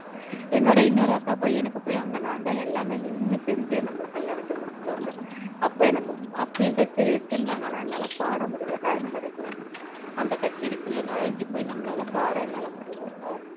என்னொட இன்னொரு அக்கா பையனுக்கு போய் அங்க நான் தான் எல்லாமே நீன்னு செஞ்சி அந்த கல்யாணத்தை முடிச்சிட்டு வந்தேன் அப்போ எனக்கு அப்பயும் கச்சேரி வச்சிருந்தாங்க ஆனா என்னால பாட முடியல time கிடைக்கல அந்த கச்சேரி குள்ள நூழைந்து போய் நம்மளால பாட என்னால முடியல